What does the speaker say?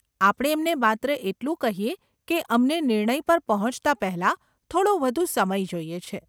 આપણે એમને માત્ર એટલું કહીએ કે અમને નિર્ણય પર પહોંચતા પહેલાં, થોડો વધુ સમય જોઈએ છે.